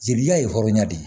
Jelita ye hɔrɔnya de ye